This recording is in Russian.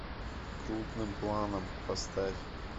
крупным планом поставь